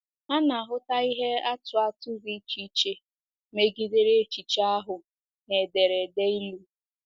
A na-ahụta ihe atụ atụ dị iche megidere echiche ahụ na ederede Ilu.